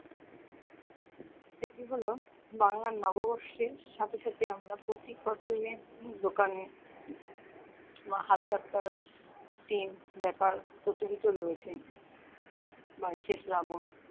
সেটি হলো বাংলার নববর্ষের সাথে সাথে আমরা প্রতি কাপড়ের দোকানে একটি ব্যাপার প্রচলিত রয়েছে বাইশে শ্রাবন